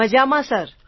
મજામાં સર